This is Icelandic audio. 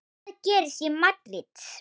Hvað gerist í Madríd?